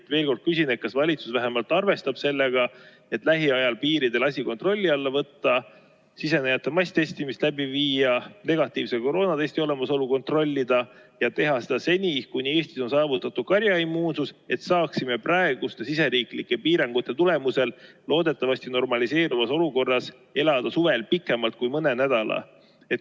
Ma veel kord küsin: kas valitsus vähemalt arvestab sellega, et lähiajal piiridel asi kontrolli alla võtta, sisenejate masstestimist läbi viia, negatiivse koroonatesti olemasolu kontrollida ja teha seda seni, kuni Eestis on saavutatud karjaimmuunsus, et saaksime praeguste siseriiklike piirangute tulemusel loodetavasti normaliseeruvas olukorras elada suvel pikemalt kui mõne nädala?